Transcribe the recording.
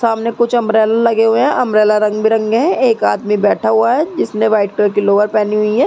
सामने कुछ अम्ब्रेला लगे हुए हैं। अम्ब्रेला रंग बिरंगे है। एक आदमी बैठा हुआ है। जिसने व्हाइट कलर की लोअर पहनी हुई है।